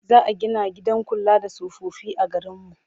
Za a gina gidan kula da tsofaffi a garinmu.